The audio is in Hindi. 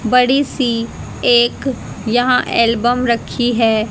बड़ी सी एक यहां एल्बम रखी है।